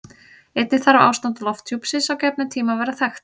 Einnig þarf ástand lofthjúpsins á gefnum tíma að vera þekkt.